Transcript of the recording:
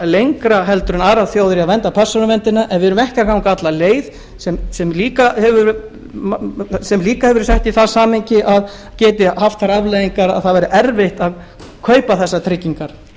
lengra en aðrar þjóðir í að vernda persónuverndina en við göngum ekki alla leið sem líka hefur verið sett í það samhengi að geti haft þær afleiðingar að það verður erfitt að kaupa þessar tryggingar